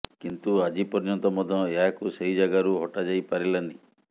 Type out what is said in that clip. କିନ୍ତୁ ଆଜି ପର୍ୟ୍ୟନ୍ତ ମଧ୍ୟ ଏହାକୁ ସେହି ଯାଗାରୁ ହଟା ଯାଇପାରିଲାନି